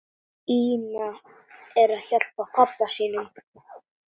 Ína er hjá pabba sínum.